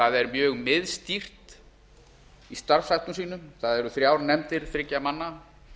það er mjög miðstýrt í starfsháttum sínum það eru þrjár nefndir þriggja manna